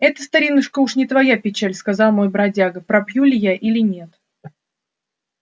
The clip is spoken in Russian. это старинушка уж не твоя печаль сказал мой бродяга пропью ли я или нет